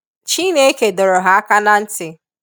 Chineke dọrọ ha aka na ntị